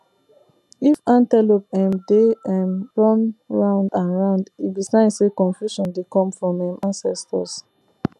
if antelope um dey um run round and round e be sign say confusion dey come from um ancestors